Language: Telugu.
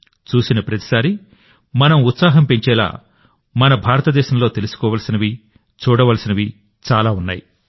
చూసిన ప్రతిసారీ మన ఉత్సాహం పెంచేలా మన భారతదేశంలో తెలుసుకోవలసినవి చూడవలసినవి చాలా ఉన్నాయి